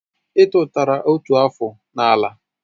I tutara otu afụ n'ala